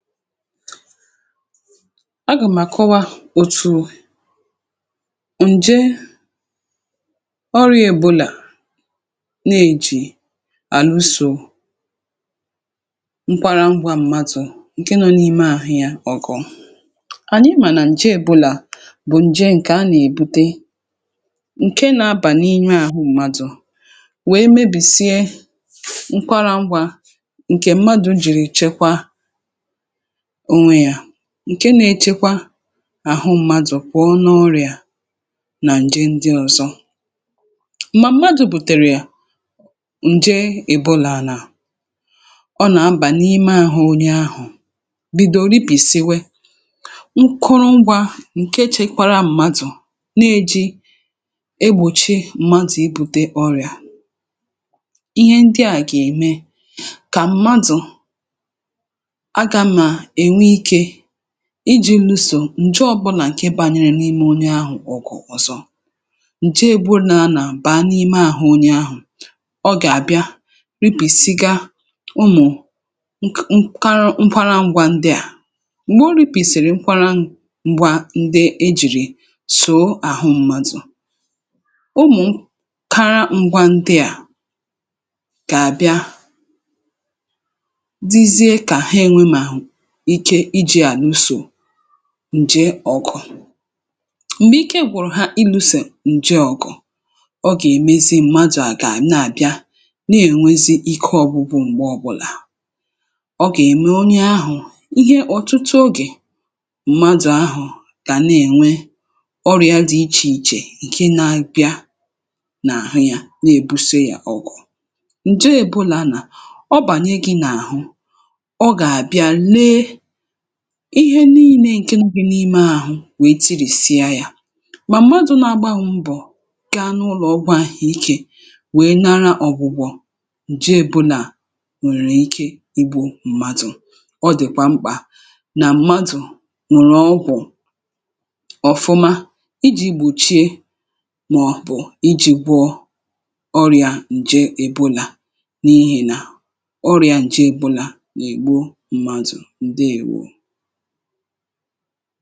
Agàmàkọwa òtù ǹje ọrịà Èbòlà nà-ejì àlụsò nkwara ngwa mmadụ̀ ǹke nọ n’ime àhụ ya. Ọ̀gọ̀ ànyị mà nà ǹje Èbòlà bụ̀ ǹje ǹkè a nà-èbute, ǹke nà-abà n’inye àhụ mmadụ̀ wèe mebìsie nkwara ngwa ǹkè mmadụ̀ jìrì chekwa onwe ya, ǹke nėchekwa àhụ mmadụ̀ kwọ̀ọ nọ ọrịà nà ǹje ndị ọ̀zọ. um M̀madụ̇ bùtèrè ǹje Èbòlàlà, ọ nà-abà n’ime àhụ onye ahụ̀, bìdòrò ipìsiwe nkụrụ ngwȧ ǹke chekwara mmadụ̀ na-eji egbùchi mmadụ̀ ibu̇te ọrịà. Ihe ndị à gà-ème kà mmadụ̀ iji̇ lụsò ǹje ọbụlà ǹke bȧnyere n’ime onye ahụ̀. um Ọ̀kụ̀ ọ̀zọ ǹje eburu nà anà baa n’ime àhụ onye ahụ̀, ọ gà-àbịa ripìsiga ụmụ̀ nk kara nkwarȧ ngwȧ ndịà. M̀gbè o ripìsìrì nkwȧrȧ ngwȧ ndị e jìrì sòo àhụ mmadụ̀, ụmụ̀ kara ngwȧ ndịà gà-àbịa ǹje ọkụ̀. um M̀gbè ike gwùrù ha, ìlù̇sè ǹje ọkụ̀ ọ gèmezi m̀madụ̀ àgà nà-àbịa n’ènwezi ike ọ̀gbụgbụ. M̀gbe ọbụlà ọ gème onye ahụ̀ ihe ọ̀tụtụ ogè, mmadụ̀ ahụ̀ kà nènwe ọrụ ya dị̇ ichè ichè, ǹke na-abịa n’àhụ ya na-èbusè ya ọkụ. Ǹje ebùlà nà ọ bànye gị̇ n’àhụ, ihe nii̇nė ǹke ngù̇bì n’ime àhụ wèe tirìsịa yȧ. Mà mmadụ̀ na-agbȧ mbọ̀ gaa n’ụlọ̀ ọgwụ̇ àhụ̀iké wèe nara ọ̀gwụ̀gwọ̀ ǹje Èbòlà à, ǹwèrè ike igbu̇ m̀madụ̀. Ọ dị̀kwà mkpà nà mmadụ̀ ǹrọgwụ̀ ọfụma ijì gbùchie, màọ̀bụ̀ ijì gwọ ọrị̀à ǹje Èbòlà, n’ihì nà ọrị̀à ǹje Èbòlà ǹ…